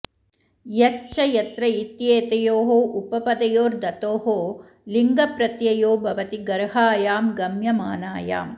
यच् च यत्र इत्येतयोः उपपदयोर् धतोः लिङ् प्रत्ययो भवति गर्हायां गम्यमानायाम्